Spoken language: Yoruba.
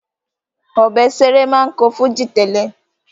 Òbésèré máa ń kọ́ fújì tẹ́lẹ̀